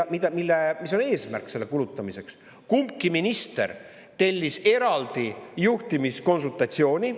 –, mis on eesmärk kulutamiseks, tellis kumbki minister eraldi juhtimiskonsultatsiooni.